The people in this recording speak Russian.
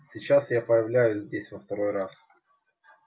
сейчас я появляюсь здесь во второй раз